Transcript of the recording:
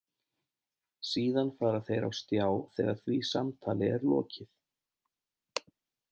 Síðan fara þeir á stjá þegar því samtali er lokið.